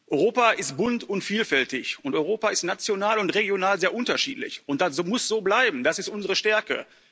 Europa ist bunt und vielfältig und Europa ist national und regional sehr unterschiedlich, und das muss so bleiben, das ist unsere Stärke.